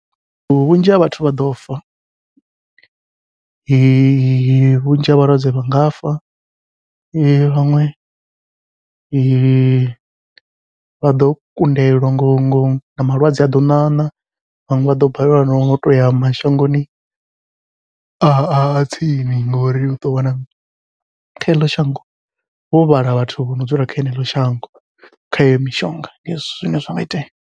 Vhunzhi ha vhathu vha ḓo fa, vhunzhi ha vhalwadze vha nga fa vhaṅwe vha ḓo kundelwa ngo ngo na malwadze a ḓo ṋaṋa vhaṅwe vha ḓo balelwa, no u toya mashangoni a tsini ngori uḓo wana kha heḽo shango vho vhala vhathu vho no dzula kha eḽo shango, kha iyo mishonga ndi hezwi zwine zwa nga itea.